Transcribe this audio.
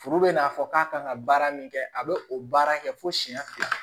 Furu bɛ n'a fɔ k'a kan ka baara min kɛ a bɛ o baara kɛ fo siyɛn fila